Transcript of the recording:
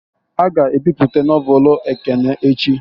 A ga ebipụta nọvelu Ekene echi